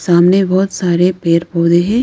सामने बहोत सारे पेड़ पौधे हैं।